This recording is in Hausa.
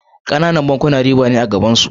Kananan bankuna riba ne a gabansu.